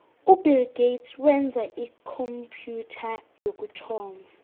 ubill gates wenza ikhompyutha yokuthoma